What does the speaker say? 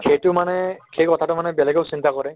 সেইটো মানে সেই কথাটো মানে বেলেগেও চিন্তা কৰে